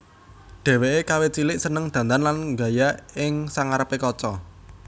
Dheweke kawit cilik seneng dandan lan nggaya ing sangarepe kaca